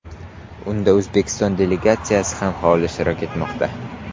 Unda O‘zbekiston delegatsiyasi ham faol ishtirok etmoqda.